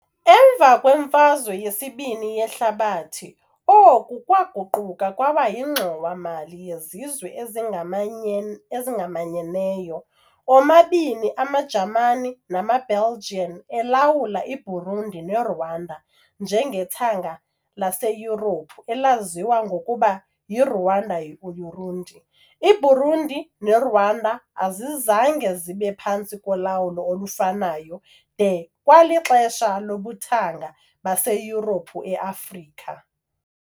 Emva kweMfazwe yesiBini yeHlabathi, oku kwaguquka kwaba yiNgxowa-mali yeZizwe ezingamanye ezingamanyeneyo . Omabini amaJamani namaBelgian alawula iBurundi neRwanda njengethanga laseYurophu elaziwa ngokuba yiRuanda-Urundi . IBurundi neRwanda azizange zibe phantsi kolawulo olufanayo de kwalixesha lobuthanga baseYurophu eAfrika.